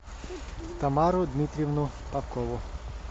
тамару дмитриевну попкову